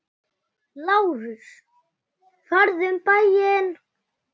LÁRUS: Farðu um bæinn!